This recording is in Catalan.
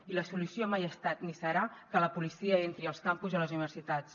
i la solució mai ha estat ni serà que la policia entri als campus i a les universitats